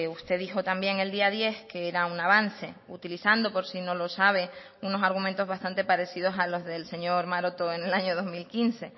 usted dijo también el día diez que era un avance utilizando por si no lo sabe unos argumentos bastante parecidos a los del señor maroto en el año dos mil quince